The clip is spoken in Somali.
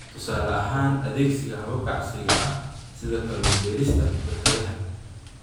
Tusaale ahaan, adeegsiga hababka casriga ah sida kalluun-ka-beerista barkadaha.